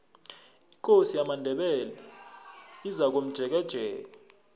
ikosi yamandebele izakomjekejeke